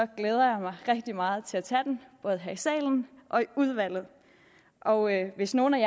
glæder jeg mig rigtig meget til at tage den både her i salen og i udvalget og hvis nogle af